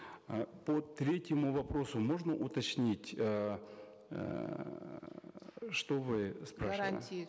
э по третьему вопросу можно уточнить эээ что вы спрашивали гарантии